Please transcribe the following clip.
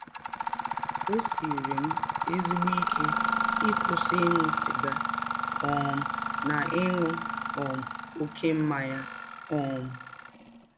Ọ siiri m ezịgbọ ike ịkwụsị ịṅụ sịga um na ịṅụ um ọké mmanya um.